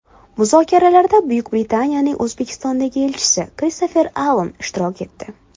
Muzokaralarda Buyuk Britaniyaning O‘zbekistondagi elchisi Kristofer Allan ishtirok etdi.